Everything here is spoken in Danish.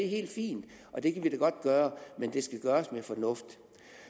helt fint og det kan vi da godt gøre men det skal gøres med fornuft